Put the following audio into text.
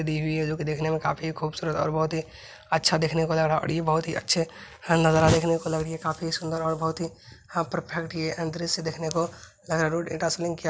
दी हुई है जो की देखने में काफी खूबसूरत और बहुत ही अच्छा देखने को लग रहा और ये बहुत ही अच्छे है नज़ारे देखने को लग रही है काफी सुंदर और बहुत ही परफेक्ट ये दृश्य देखने को लग रहा रोड किया --